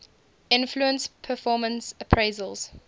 influence performance appraisals